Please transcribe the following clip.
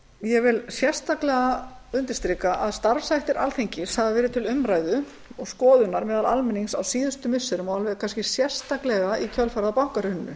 ég vil sérstaklega undirstrika að starfshættir alþingis hafa verið til umræðu og skoðunar meðal almennings á síðustu missirum og kannski alveg sérstaklega í kjölfarið á bankahruninu